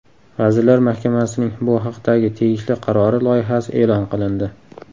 Vazirlar Mahkamasining bu haqdagi tegishli qarori loyihasi e’lon qilindi.